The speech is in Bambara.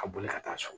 A boli ka taa so